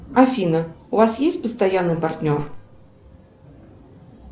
афина у вас есть постоянный партнер